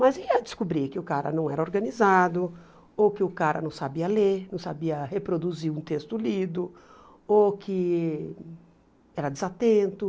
Mas ia descobrir que o cara não era organizado, ou que o cara não sabia ler, não sabia reproduzir um texto lido, ou que era desatento.